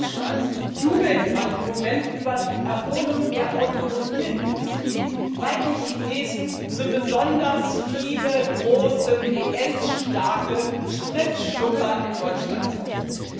In Deutschland jubelt man im Moment über die Erholung der Automobilindustrie, weil die Chinesen so besonders viele große PS starke Spritschlucker aus Deutschland kaufen.